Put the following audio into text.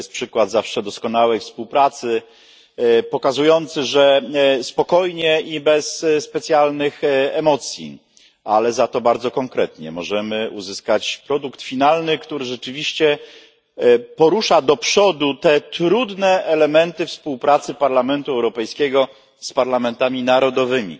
To jest przykład zawsze doskonałej współpracy, pokazujący, że spokojnie i bez specjalnych emocji, ale za to bardzo konkretnie możemy uzyskać produkt finalny, który rzeczywiście stanowi krok do przodu w trudnej kwestii współpracy Parlamentu Europejskiego z parlamentami narodowymi.